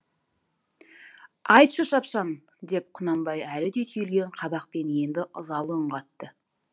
айтшы шапшаң деп құнанбай әлі де түйілген қабақпен енді ызалы үн қатты